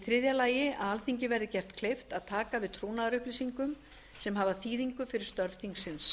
þriðja að alþingi verði gert kleift að taka við trúnaðarupplýsingum sem hafa þýðingu fyrir störf þingsins